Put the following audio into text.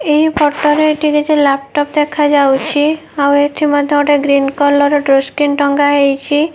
ଏହି ଫଟ ରେ ଏଠି କିଛି ଲାପଟପ୍ ଦେଖାଯାଉଛି। ଆଉ ଏଠି ମଧ୍ୟ ଗୋଟେ ଗ୍ରିନ କଲର୍ ଡୋର ସ୍କ୍ରିନ୍ ଟଙ୍ଗା ହେଇଛି।